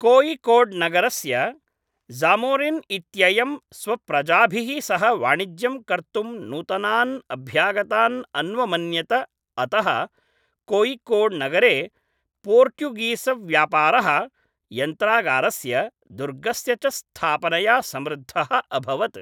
कोय़िकोड्नगरस्य ज़ामोरिन् इत्ययं स्वप्रजाभिः सह वाणिज्यं कर्तुं नूतनान् अभ्यागतान् अन्वमन्यत अतः कोय़िकोड्नगरे पोर्ट्युगीस्व्यापारः यन्त्रागारस्य, दुर्गस्य च स्थापनया समृद्धः अभवत्।